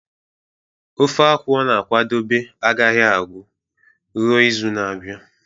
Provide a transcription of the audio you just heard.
ofe akwu ọ na-akwadebe agaghị agu ruo izu na-abịa